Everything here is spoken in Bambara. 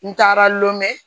N taara lɔn